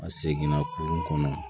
A seginna kurun kɔnɔ